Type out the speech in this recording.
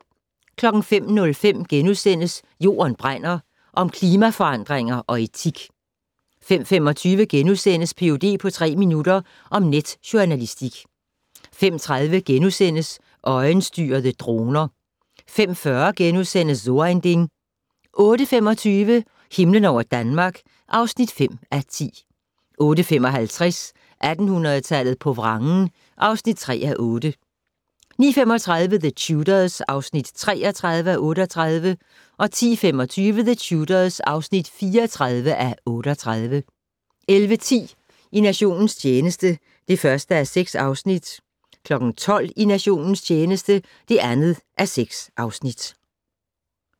05:05: Jorden brænder - om klimaforandringer og etik * 05:25: Ph.d. på tre minutter - om netjournalistik * 05:30: Øjenstyrede droner * 05:40: So ein Ding * 08:25: Himlen over Danmark (5:10) 08:55: 1800-tallet på vrangen (3:8) 09:35: The Tudors (33:38) 10:25: The Tudors (34:38) 11:10: I nationens tjeneste (1:6) 12:00: I nationens tjeneste (2:6)